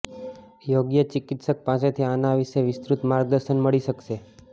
યોગ્ય ચિકિત્સક પાસેથી આના વિશે વિસ્તૃત માર્ગદર્શન મળી શકશે